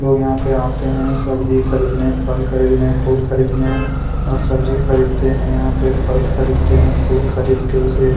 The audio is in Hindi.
लोग यहाँ पे आते है सब्जी खरीदने फल खरीदने फूल खरीदने और सब्जी खरीदते है यहाँ पे फल खरीदते है फूल खरीद के उसे --